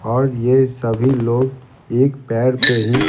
और ये सभी लोग एक पैर पे ही --